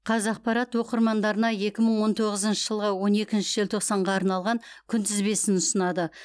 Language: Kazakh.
қазақпарат оқырмандарына екі мың он тоғызыншы жылғы он екінші желтоқсанға арналған күнтізбесін ұсынады